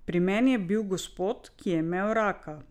Pri meni je bil gospod, ki je imel raka.